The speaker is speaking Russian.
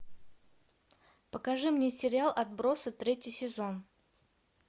покажи мне сериал отбросы третий сезон